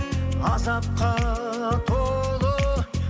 азапқа толы